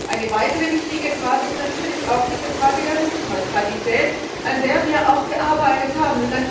Eine weitere wichtige Frage ist natürlich auch diese Frage der Netzneutralität, an der wir auch gearbeitet haben.